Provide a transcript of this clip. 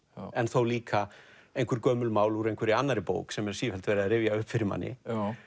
en þó líka gömul mál úr annarri bók sem er sífellt verið að rifja upp fyrir manni